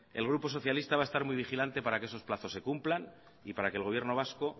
el grupo socialista va a estar muy vigilante para que esos plazos se cumplan y para que el gobierno vasco